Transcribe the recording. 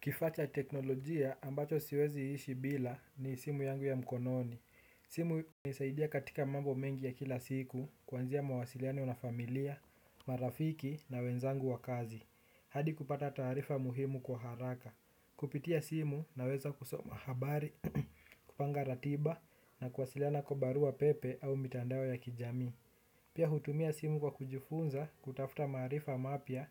Kifaa cha teknolojia ambacho siwezi ishi bila ni simu yangu ya mkononi. Simu nisaidia katika mambo mengi ya kila siku. Kwanzia mawasiliano na familia, marafiki na wenzangu wa kazi hadi kupata taarifa muhimu kwa haraka. Kupitia simu naweza kusoma habari, kupanga ratiba na kuwasiliana kwa barua pepe au mitandao ya kijami. Pia hutumia simu kwa kujifunza, kutafta maarifa mapya